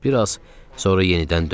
bir az sonra yenidən döndü.